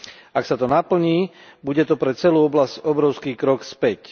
Ak sa to naplní, bude to pre celú oblasť obrovský krok späť.